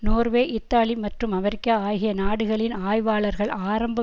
Norway Italy மற்றும் America ஆகிய நாடுகளின் ஆய்வாளர்கள் ஆரம்ப